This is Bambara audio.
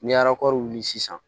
Ni a kɔri sisan